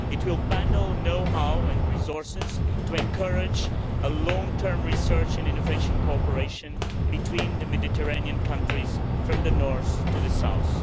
It will bundle know how and resources to encourage long term research and innovation cooperation between the Mediterranean countries, from the North to the South.